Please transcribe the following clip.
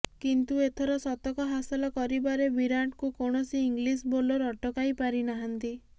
କିନ୍ତୁ ଏଥର ଶତକ ହାସଲ କରିବାରେ ବିରାଟ୍ଙ୍କୁ କୌଣସି ଇଂଲିଶ ବୋଲର ଅଟକାଇ ପାରିନାହାନ୍ତି